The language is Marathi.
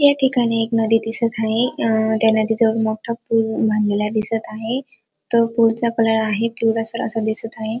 या ठिकाणी एक नदी दिसत आहे अ त्या नदीच्या वर मोठा पूल बांधलेला दिसत आहे तो पुलचा कलर आहे पिवळसर असा दिसत आहे.